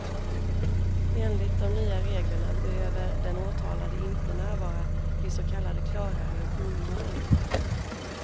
Enligt de nya reglerna behöver den åtalade inte närvara vid så kallade klara rutinmål.